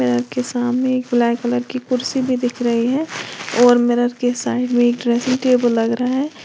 Mirror सामने एक black colour की कुर्सी भी दिख रही है और मिरर के साइड में ड्रेसिंग टेबल लग रहा है।